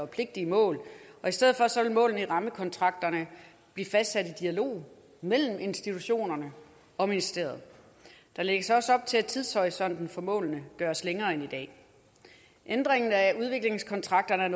pligtige mål og i stedet vil målene i rammekontrakterne blive fastsat i dialog mellem institutionerne og ministeriet der lægges også op til at tidshorisonten for målene gøres længere end i dag ændringen af udviklingskontrakterne er